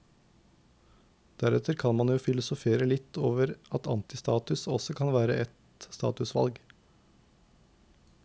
Deretter kan man jo filosofere litt over at antistatus også kan være et statusvalg.